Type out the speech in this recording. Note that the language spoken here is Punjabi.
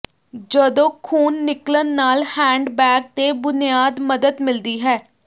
ਜਦੋਂ ਖੂਨ ਨਿਕਲਣ ਨਾਲ ਹੈਂਡਬੈਗ ਤੇ ਬੁਨਿਆਦ ਮਦਦ ਮਿਲਦੀ ਹੈ